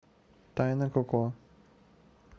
тайна коко